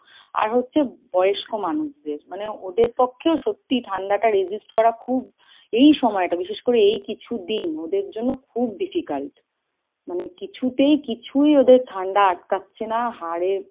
আর হচ্ছে বয়স্ক মানুষদের, মানে ওদের পক্ষেও সত্যি ঠাণ্ডা টা resist করা খুব, এই সময় টা বিশেষ করে এই কিছু দিন ওদের জন্য খুব difficult। মানে কিছুতেই কিছুই ওদের ঠাণ্ডা আটকাচ্ছে না, হাড়ে